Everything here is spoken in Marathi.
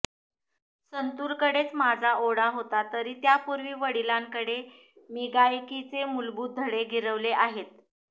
संतूरकडेच माझा ओढा होता तरी त्यापूर्वी वडिलांकडे मी गायकीचे मूलभूत धडे गिरवले आहेत